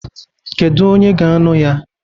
Kedu onye ga-ańụ ya?